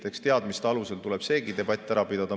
Eks teadmiste alusel tuleb seegi debatt ära pidada.